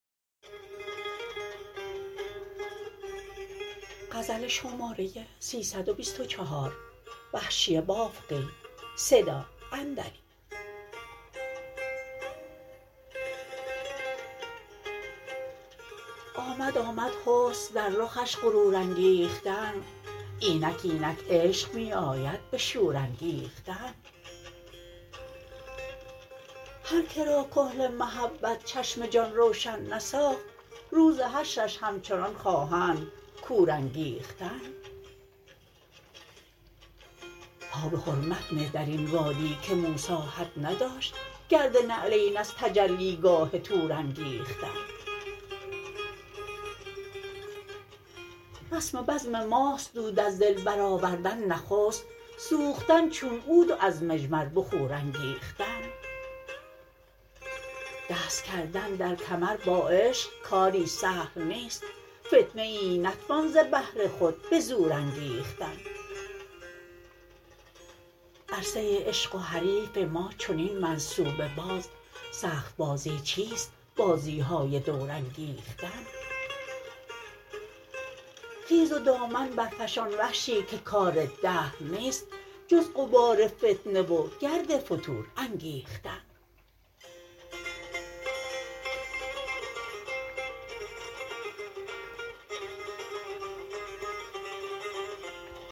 آمد آمد حسن در رخش غرور انگیختن اینک اینک عشق می آید به شور انگیختن هر کرا کحل محبت چشم جان روشن نساخت روز حشرش همچنان خواهند کور انگیختن پا به حرمت نه در این وادی که موسی حد نداشت گرد نعلین از تجلیگاه طور انگیختن رسم بزم ماست دود از دل بر آوردن نخست سوختن چون عود و از مجمر بخور انگیختن دست کردن در کمر با عشق کاری سهل نیست فتنه ای نتوان ز بهر خود به زور انگیختن عرصه عشق و حریف ما چنین منصوبه باز سخت بازی چیست بازیهای دور انگیختن خیز و دامن برفشان وحشی که کار دهر نیست جز غبار فتنه و گرد فتور انگیختن